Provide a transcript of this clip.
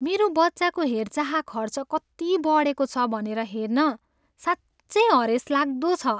मेरो बच्चाको हेरचाह खर्च कति बढेको छ भनेर हेर्न साँच्चै हरेसलाग्दो छ।